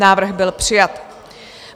Návrh byl přijat.